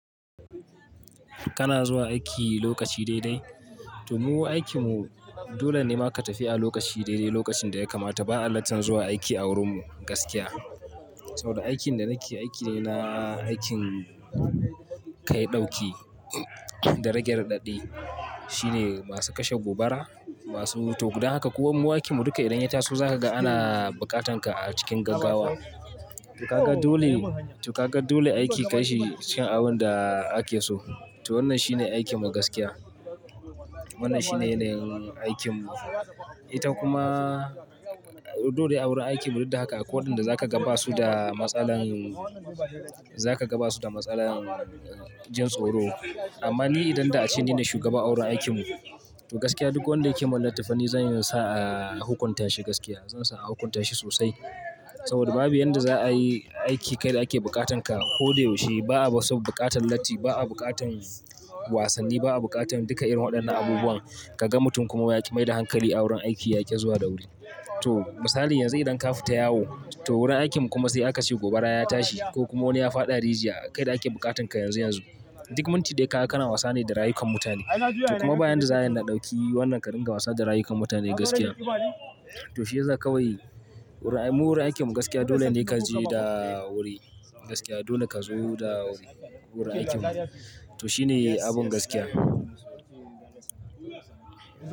Kana zuwa aiki lokaci daidai? To mu aikinmu dole ne ma ka tafi a lokaci daidai lokacin da ya kamata. Ba'a latta zuwa aiki a wurin mu gaskiya. Saboda aikin da nake aiki ne na aikin kai ɗauki, darajar ɗaya. Shi ne masu kashe gobara, masu to gudan haka. Ko mu aikinmu duka idan ya taso za ka ga ana buƙatan ka a cikin gaggawa. To ka ga dole, to ka ga dole aiki ka yi cikin abun da ake so. To wannan shine aikinmu gaskiya. Wannan shine ne aikinmu. Ita kuma dole a wurin aikinmu duk da haka akwai waɗanda za ka gaba su da matsalar, za ka gaba su da matsalar jin tsoro. Amma ni idan da ace ne na shugaba a wurin aikinmu, to gaskiya duk wanda yake mun latti fa zan iya sa a hukunta shi gaskiya. Zan sa a hukunta shi sosai. Saboda babu yan da za'a yi aiki kai da ake bukatan ka. Ko da yaushe ba'a ba saboda buƙatan latti, ba'a buƙatan wasanni, ba'a buƙatan duka irin waɗannan abubuwan. Kaga mutum kuma yake maida hankali a wurin aiki yaki zuwa da wuri. To misali yanzu idan kafu ta yawo, to wurin aikinmu kuma sai aka ce gobara ya tashi ko kuma wani ya faɗa rijiya kai da ake bukatan ka yanzu yanzu. Duk mun ti daya ka gana wasa ne da rayukan mutane. To kuma bayan da za'a yana dauki wannan ka dinga wasa da rayukan mutane gaskiya, to shi ya za ka wuyi? Mu wurin aikinmu gaskiya dole ne ka je da wuri gaskiya. Dole ka zo da wuri wurin aikinmu. To shi ne abun gaskiya.